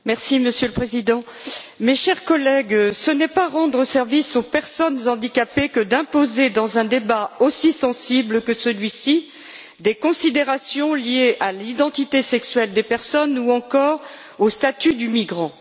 Monsieur le Président, chers collègues, ce n'est pas rendre service aux personnes handicapées que d'imposer, dans un débat aussi sensible que celui ci, des considérations liées à l'identité sexuelle des personnes ou encore au statut de migrant.